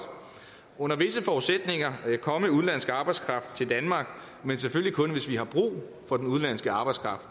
under visse forudsætninger komme udenlandsk arbejdskraft til danmark men selvfølgelig kun hvis vi har brug for den udenlandske arbejdskraft